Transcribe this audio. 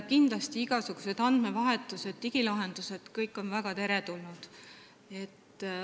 Kindlasti on igasugused andmevahetused ja digilahendused kõik väga teretulnud.